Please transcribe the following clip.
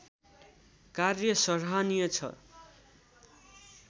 कार्य सराहनीय छ